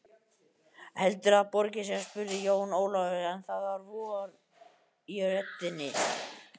Heldurðu að það borgi sig spurði Jón Ólafur, en það var von í röddinni.